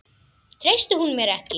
Treysti hún mér ekki?